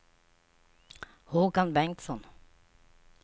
Håkan Bengtsson